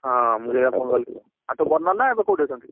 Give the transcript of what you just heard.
ହଁ ମୁ ସେଇଆ phone କଲି ଆଉ ତୋ ବଦ ନନା ଏବେ କୋଉଟି ଅଛନ୍ତି?